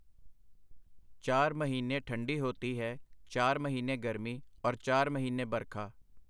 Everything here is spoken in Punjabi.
ਚਾਰ ਮਹੀਨੇ ਠੰਢੀ ਹੋਤੀ ਹੈ, ਚਾਰ ਮਹੀਨੇ ਗਰਮੀ, ਔਰ ਚਾਰ ਮਹੀਨੇ ਬਰਖਾ…”.